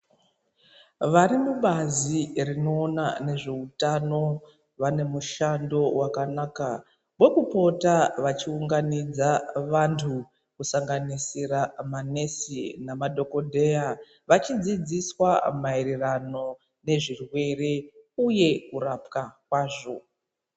Vari mubazi rinoona nezveutano vane mushando wakanaka wekupota vachiunganidze vantu kusanganisira manesi nemadhokodheya vachidzidziswa maererano nezvirwere uye kurapwa kwazvo.